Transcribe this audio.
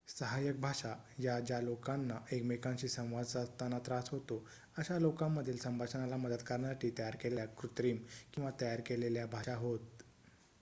सहाय्यक भाषा या ज्या लोकांना एकमेकांशी संवाद साधताना त्रास होतो अशा लोकांमधील संभाषणाला मदत करण्यासाठी तयार केलेल्या कृत्रिम किंवा तयार केलेल्या भाषा होत